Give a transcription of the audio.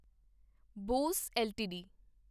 Bose LTD